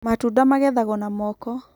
matunda magethagwo na moko